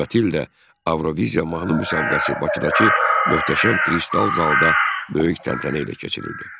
Növbəti il də Avroviziya mahnı müsabiqəsi Bakıdakı möhtəşəm Kristal Zal'da böyük təntənə ilə keçirildi.